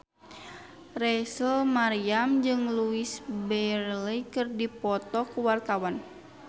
Rachel Maryam jeung Louise Brealey keur dipoto ku wartawan